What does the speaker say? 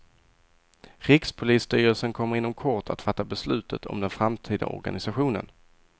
Rikspolisstyrelsen kommer inom kort att fatta beslutet om den framtida organisationen.